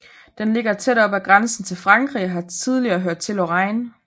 Den ligger tæt op ad grænsen til Frankrig og har tidligere hørt til Lorraine